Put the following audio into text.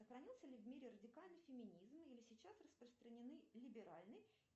сохранился ли в мире радикальный феминизм или сейчас распространены либеральный